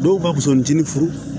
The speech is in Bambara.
Dɔw ka bisintini furu